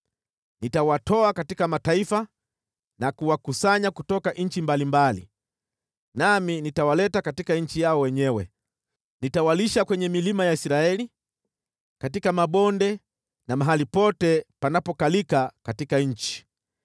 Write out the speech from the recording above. Nitawatoa katika mataifa na kuwakusanya kutoka nchi mbalimbali, nami nitawaleta katika nchi yao wenyewe. Nitawalisha kwenye milima ya Israeli, katika mabonde na mahali pote panapokalika katika nchi.